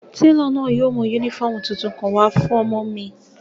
Telo náa yóò mu unifọmú titun kan wa fun ọmọ mi.